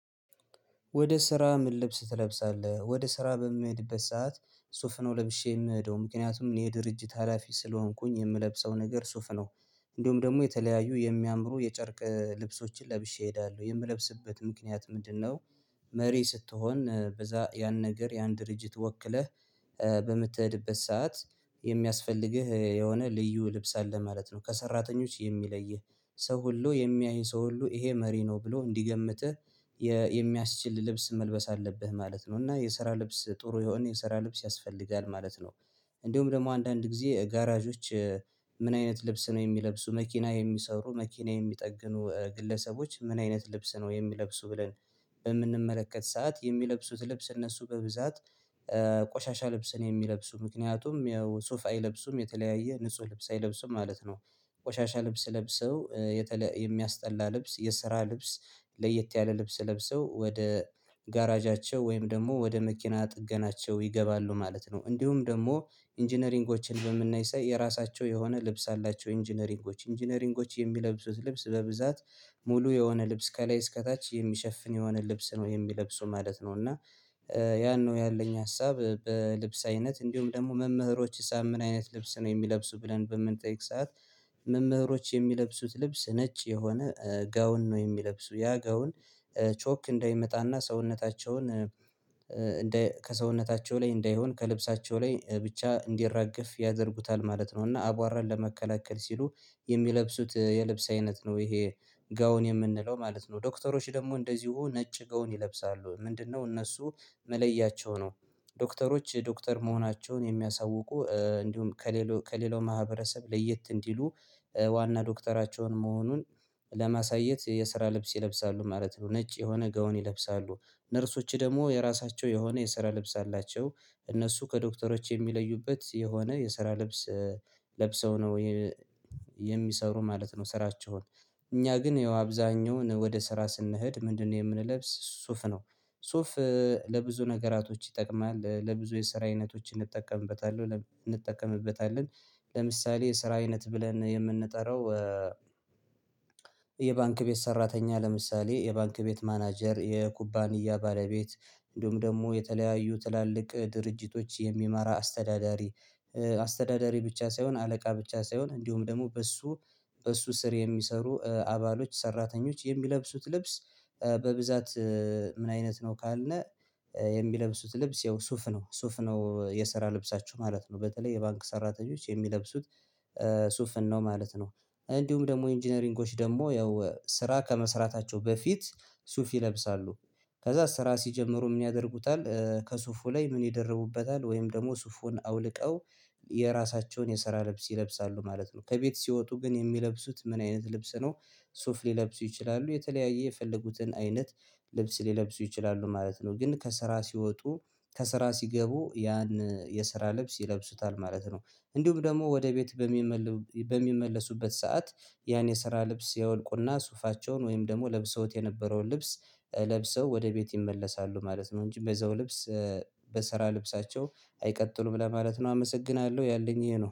ወደ ስራ? ምን ልብስ ትለብሳለህ ወደ ስራ በምሄድበት ሰዓት ሱፍነው ለብሼ የምሄደው ምክንያቱም እኔ የድርጅት ሀላፊ ስለሆንኩኝ የምለብሰው ነገር ሱፍ ነው። እንደውም ደግሞ የተለያዩ የሚያምሩ የጨርቅ ልብሶችን ለብሼ እሄዳለሁ የምለብስበት ምክንያት ምንድነው? መሪ ስትሆን በዛ ያን ነገር ያን ድርጅት ወክለህ በምትሄድበት ሰዓት የሚያስፈልግህ የሆነ ልዩ ልብስ አለ ማለት ነው ከሰራተኞች የሚለይህ ሰው ሁሉ የሚያይ ሰው ሁሉ ይሄ መሪ ነው ብሎ እንዲገምትህ የሚያስችል ልብስ መልበስ አለብህ ማለት ነው እና የስራ ልብስ ጥሩ የሆነ የሰራ ልብስ ያስፈልጋል ማለት ነው። እንዲሁም ደግሞ አንዳንድ ጊዜ ጋራዦች። ምን አይነት ልብስ ነው የሚለብሱ መኪና የሚሰሩ መኪና የሚጠግኑ ግለሰቦች ምን አይነት ልብስ ነው የሚለብሱ ብለን በምንመለከት ሰዓት የሚለብሱት ልብስ እነሱ በብዛት ቆሻሻ ልብስን የሚለብሱ ምክንያቱም የሱፍ አይለብሱም የተለያየ ንጹህ ልብስ አይለብስም ማለት ነው። ቆሻሻ ልብስ ለብሰው የተለ የሚያስጠላ ልብስ የስራ ልብስ ለየት ያለ ልብስ ለብሰው ወደ ጋራዣቸው ወይም ደግሞ ወደ መኪና ጥገናቸው ይገባሉ ማለት ነው። እንዲሁም ደግሞ ኢንጂነሪንጎችን በምናይ ሳይ የራሳቸው የሆነ ልብስ አላቸው ኢንጂነሪንጎች ኢንጂነሪንጎች የሚለብሱት ልብስ በብዛት ሙሉ የሆነ ልብስ ከላይ እስከታች የሚሸፍን የሆነ ልብስ ነው የሚለብሱ ማለት ነው። እና ያን ነው ያለኝ ሀሳብ በልብስ አይነት እንዲሁም ደግሞ መምህሮች ሳ ምን አይነት ልብስ ነው የሚለብሱ ብለን በምንጠይቅ ሰዓት። መምህሮች የሚለብሱት ልብስ ነጭ የሆነ ጋውን ነው የሚለብሱ ያ ጋውን ቾክ እንዳይመጣና ሰውነታቸውን እንደ ከሰውነታቸው ላይ እንዳይሆን ከልብሳቸው ላይ ብቻ እንዲራገፍ ያደርጉታል ማለት ነው። እና አቧራን ለመከላከል ሲሉ የሚለብሱት የልብስ አይነት ነው ይሄ ጋውን የምንለው ማለት ነው። ዶክተሮች ደግሞ እንደዚሁ ነጭ ገውን ይለብሳሉ ምንድነው? እነሱ መለያቸው ነው። ዶክተሮች ዶክተር መሆናቸውን የሚያሳውቁ እንዲሁም ከሌላው ከሌላው ማህበረሰብ ለየት እንዲሉ ዋና ዶክተራቸውን መሆኑን ለማሳየት የስራ ልብስ ይለብሳሉ ማለት ነው። ነጭ የሆነ ገውን ይለብሳሉ ነርሶች ደግሞ የራሳቸው የሆነ የስራ ልብስ አላቸው። እነሱ ከዶክተሮች የሚለዩበት የሆነ የሰራ ልብስ ለብሰው ነው ወይ የሚሰሩ ማለት ነው። ስራቸውን እኛ ግን ያው አብዛኛው ወደ ስራ ስንሄድ ምንድነው? የምንለብስ ሱፍ ነው። ሱፍ ለብዙ ነገራቶች ይጠቅማል ለብዙ የሰራ አይነቶች እንጠቀምበታለሁ እንጠቀምበታለን። ለምሳሌ የስራ አይነት ብለን የምንጠራው የባንክ ቤት ሰራተኛ ለምሳሌ የባንክ ቤት ማናጀር የኩባንያ ባለቤት እንዲሁም ደግሞ የተለያዩ ትላልቅ ድርጅቶች የሚመራ አስተዳዳሪ። አስተዳዳሪ ብቻ ሳይሆን አለቃ ብቻ ሳይሆን እንዲሁም ደግሞ በእሱ በእሱ ስር የሚሰሩ አባሎች ሰራተኞች የሚለብሱት ልብስ። በብዛት ምን አይነት ነው ካልነ? የሚለብሱት ልብስ ያው ሱፍ ነው ሱፍ ነው የሰራ ልብሳችሁ ማለት ነው በተለይ የባንክ ሰራተኞች የሚለብሱት ሱፍን ነው ማለት ነው። እንዲሁም ደግሞ ኢንጂነሪንጎች ደግሞ ያው ስራ ከመስራታቸው በፊት ሱፍ ይለብሳሉ። ከዛ ስራ ሲጀምሩ ምን ያደርጉታል ከሱፉ ላይ ምን ይደርቡበታል ወይም ደግሞ ሱፉን አውልቀው የራሳቸውን የሰራ ለብስ ይለብሳሉ ማለት ነው። ከቤት ሲወጡ ግን የሚለብሱት ምን አይነት ልብስ ነው? ሱፍ ሊለብሱ ይችላሉ የተለያየ የፈለጉትን አይነት ልብስ ሊለብሱ ይችላሉ ማለት ነው። ግን ከስራ ሲወጡ ከስራ ሲገቡ ያን የስራ ልብስ ይለብሱታል ማለት ነው። እንዲሁም ደግሞ ወደ ቤት በሚመለ በሚመልሱበት ሰዓት ያን የስራ ልብስ ያወልቁና ሱፋቸውን ወይም ደግሞ ለብሰውት የነበረውን ልብስ ለብሰው ወደ ቤት ይመለሳሉ ማለት ነው። እንጂ በዛው ልብስ በስራ ልብሳቸው አይቀጥሉም ለማለት ነው። አመሰግናለሁ ያለኝ ይሄ ነው